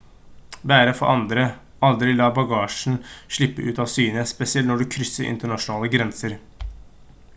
bære for andre aldri la bagasjen slippe ut av syne spesielt når du krysser internasjonale grenser